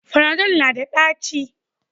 Fanadol na da ɗaci